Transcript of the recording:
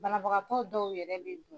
Banabagatɔ dɔw yɛrɛ bi bin.